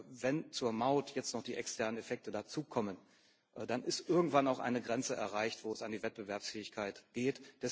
Und wenn zur Maut jetzt noch die externen Effekte dazukommen, dann ist irgendwann auch eine Grenze erreicht, wo es an die Wettbewerbsfähigkeit geht.